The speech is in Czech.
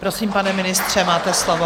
Prosím, pane ministře, máte slovo.